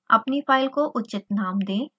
अपनी फाइल को उचित नाम दें